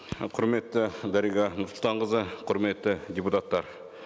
құрметті дариға нұрсұлтанқызы құрметті депутаттар